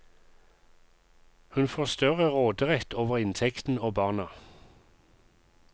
Hun får større råderett over inntekten og barna.